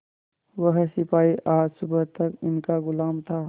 वह सिपाही आज सुबह तक इनका गुलाम था